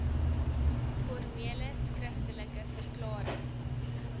formele skriftelike verklarings